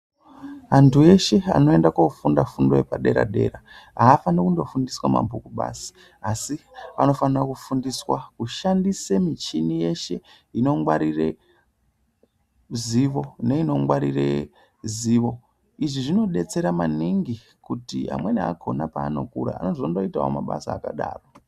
Anthu eshe anoende koofunda fundo yepadera dera haafaniri kundofundiswa mabhuku basi. Asi vanofanire kufundiswa kushandisa michini yeshe inongwarire zivo, neinongwarire zivo. Izvi zvinodetsera maningi kuti amweni akona paanokura anozondoitawo mabasa akadaro.